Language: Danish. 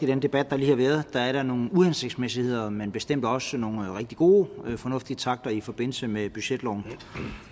den debat der lige har været sig nogle uhensigtsmæssigheder men bestemt også nogle rigtig gode og fornuftige takter i forbindelse med budgetloven